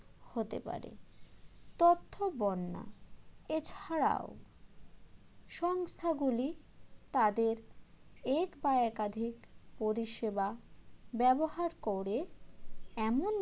হতে পারে তথ্য বন্যা এছাড়াও সংস্থাগুলি তাদের এক বা একাধিক পরিষেবা ব্যবহার করে এমন